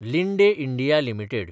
Linde India limited